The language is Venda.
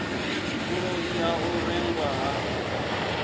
vhuloi ha u rengwa ha